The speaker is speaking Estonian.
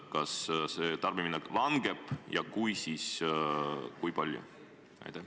Kas tarbimine väheneb ja kui, siis kui palju?